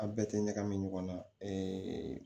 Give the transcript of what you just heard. A bɛɛ tɛ ɲagami ɲɔgɔn na